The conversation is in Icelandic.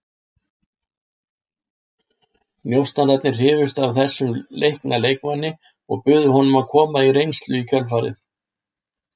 Njósnararnir hrifust af þessum leikna leikmanni og buðu honum að koma á reynslu í kjölfarið.